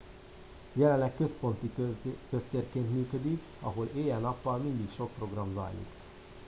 jelenleg központi köztérként működik ahol éjjel nappal mindig sok program zajlik